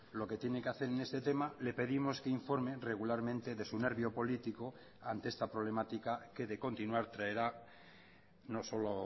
lo que tiene que hacer en este tema le pedimos que informe regularmente de su nervio político ante esta problemática que de continuar traerá no solo